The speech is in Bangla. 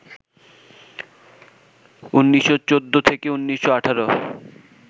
১৯১৪-১৯১৮